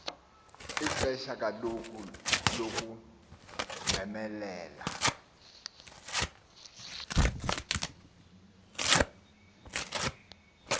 lixesha kaloku lokumemelela